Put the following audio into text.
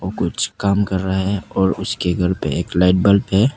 कुछ काम कर रहे हैं और उसके घर पे एक लाइट बल्ब है।